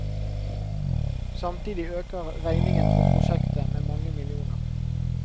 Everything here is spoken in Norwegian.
Samtidig øker regningen for prosjektet med mange millioner.